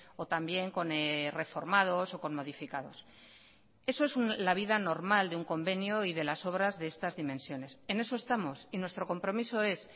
o también con reformados o con modificados eso es la vida normal de un convenio y de las obras de estas dimensiones en eso estamos y nuestro compromiso es